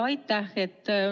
Aitäh!